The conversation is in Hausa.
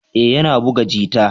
Ee, yana buga jita.